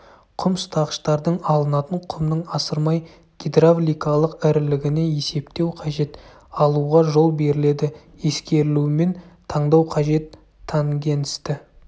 құм ұстағыштардың алынатын құмның асырмай гидравликалық ірілігіне есептеу қажет алуға жол беріледі ескерілуімен таңдау қажет тангенсті